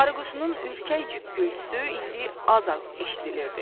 arıquşunun ürkək cük-cükgültüsü indi az-az eşidilirdi.